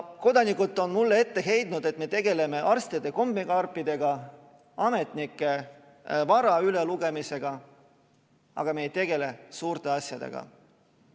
Kodanikud on mulle ette heitnud, et me tegeleme arstide kommikarpidega ja ametnike vara ülelugemisega, aga me ei tegele suurte asjadega.